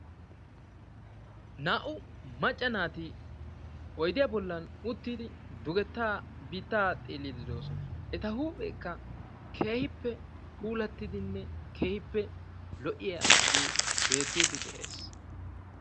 Naa"u macca naati oydiya bollan uttidi dugetta biittaa xeellidi de'oosona. Etta huuphphekka keehippe puulattidinne keehippe lo"iyaage beettid dees.